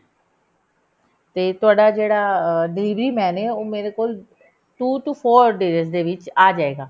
ਤੇ ਤੁਹਾਡਾ ਜਿਹੜਾ delivery man ਐ ਉਹ ਮੇਰੇ ਕੋਲ two to four days ਦੇ ਵਿੱਚ ਆਜੇਗਾ